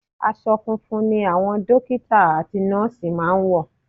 Aṣọ funfun ni àwọn dọ́kítà àti nọ́ọ̀sì máa ń wọ̀.